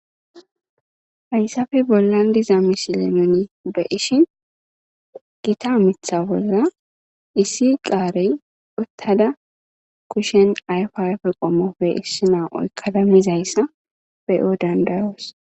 ayssafe bollan diza misile nuni be ishin gita mitha bolla issi qaarey uttada kushen ayfi ayfe qommope issi naa7oykkada mizayssa beyo dandayoos